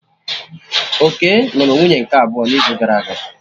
Okey nụrụ nwunye nke abụọ n'izu gara aga